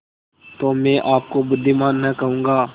तो मैं आपको बुद्विमान न कहूँगा